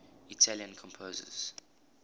italian composers